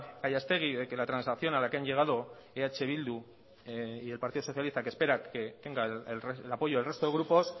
gallastegui de que la transacción a la que han llegado eh bildu y el partido socialista que espera que tenga el apoyo del resto de grupos